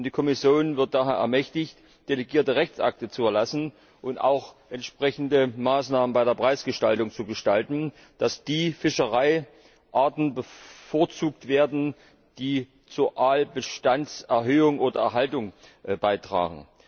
Die Kommission wird daher ermächtigt, delegierte Rechtsakte zu erlassen und auch entsprechende Maßnahmen bei der Preisgestaltung zu ergreifen, damit die Fischereiarten bevorzugt werden, die zur Aalbestandserhöhung oder erhaltung beitragen.